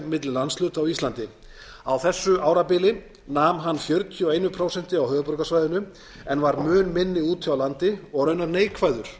milli landshluta á íslandi á þessu árabili nam hann fjörutíu og eitt prósent á höfuðborgarsvæðinu en var mun minni úti á landi og raunar neikvæður